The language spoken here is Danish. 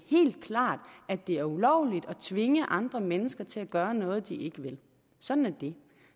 helt klart at det er ulovligt at tvinge andre mennesker til at gøre noget de ikke vil sådan er det